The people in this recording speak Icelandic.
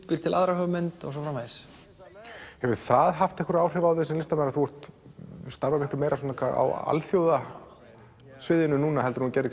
býr til aðra hugmynd og svo framvegis hefur það haft áhrif á þig sem listamann að þú starfar meira á alþjóðasviðinu en þú gerðir